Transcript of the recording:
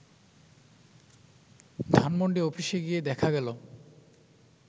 ধানমন্ডি অফিসে গিয়ে দেখা গেল